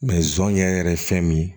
zonzan yɛrɛ ye fɛn min ye